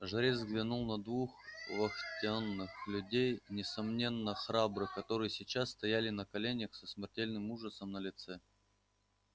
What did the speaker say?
жрец взглянул на двух вахтенных людей несомненно храбрых которые сейчас стояли на коленях со смертельным ужасом на лицах